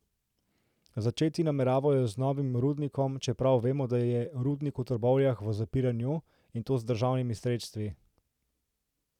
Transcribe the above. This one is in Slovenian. Začeti nameravajo z novim rudnikom, čeprav vemo, da je rudnik v Trbovljah v zapiranju, in to z državnimi sredstvi.